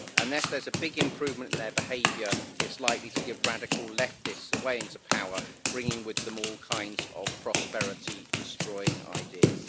Unless there is big improvement in their behaviour, it is likely to give radical leftists a way into power, bringing with them all kinds of prosperity destroying ideas.